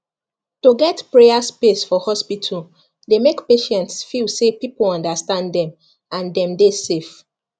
to get prayer space for hospital dey make patients feel say people understand them and dem dey safe